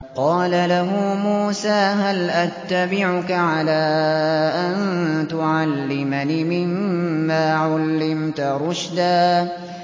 قَالَ لَهُ مُوسَىٰ هَلْ أَتَّبِعُكَ عَلَىٰ أَن تُعَلِّمَنِ مِمَّا عُلِّمْتَ رُشْدًا